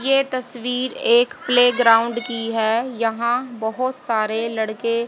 ये तस्वीर एक प्लेग्राउंड की है यहां बहुत सारे लड़के--